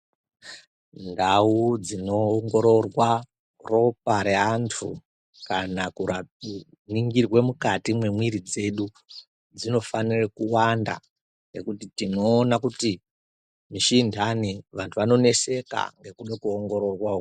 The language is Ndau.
Ndau dzinoongororwa ropa reantu kana kuningirwa mukati mwemwiri dzedu dzinofanira kuwanda ngekuti tinoona kuti ishiindane vantu vanoneseka ngekuda kuongororwa uku.